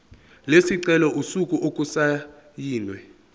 lesicelo usuku okusayinwe